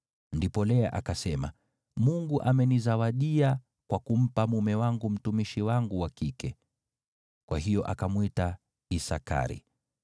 Ndipo Lea akasema, “Mungu amenizawadia kwa kumpa mume wangu mtumishi wangu wa kike.” Kwa hiyo akamwita Isakari.